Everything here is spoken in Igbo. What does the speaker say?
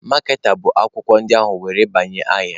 Maaketa bụ akwụkwọ ndị ahụ were banye ahịa.